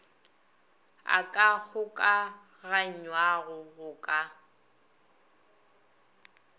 a ka kgokaganywago go ka